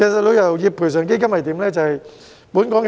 旅遊業賠償基金是如何運作的呢？